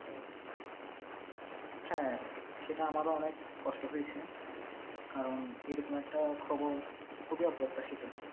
হ্যাঁ, সেটা আমারও অনেক কষ্ট হয়েছে কারণ এরকম একটা খবর খুবই অপ্রত্যাশিত।